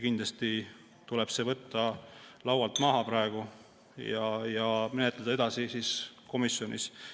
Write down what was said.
Kindlasti tuleb see praegu laualt maha võtta ja menetleda seda komisjonis edasi.